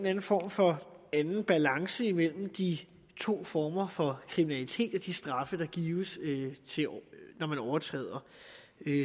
anden form for anden balance imellem de to former for kriminalitet og de straffe der gives når man overtræder